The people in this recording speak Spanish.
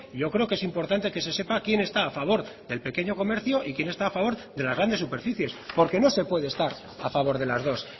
yo creo que es importante que se sepa quien está a favor del pequeño comercio y quien está a favor de las grandes superficies porque no se puede estar a favor de las dos